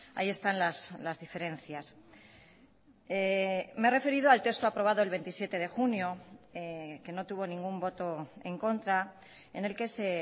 ahí están las diferencias me he referido al texto aprobado el veintisiete de junio que no tuvo ningún voto en contra en el que se